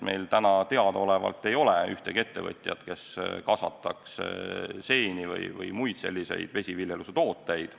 Meil teadaolevalt ei ole ühtegi ettevõtjat, kes kasvataks seeni või muid selliseid vesiviljelustooteid.